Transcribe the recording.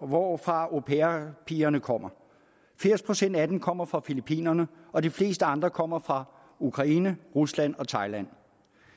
hvorfra au pair pigerne kommer firs procent af dem kommer fra filippinerne og de fleste andre kommer fra ukraine rusland og thailand